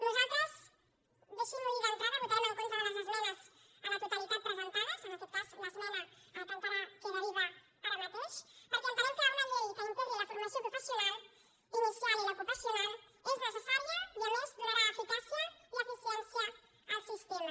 nosaltres deixin m’ho dir d’entrada votarem en contra de les esmenes a la totalitat presentades en aquest cas l’esmena que encara queda viva ara mateix perquè entenem que una llei que integri la formació professional inicial i l’ocupacional és necessària i a més donarà eficàcia i eficiència al sistema